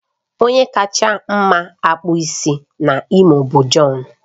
Onye kacha mma akpụ isi na Imo bụ John